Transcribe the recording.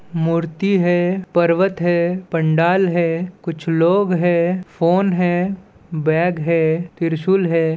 मूर्ति है पर्वत है पंडाल है कुछ लोग है फ़ोन है बैग है त्रिशूल हैं।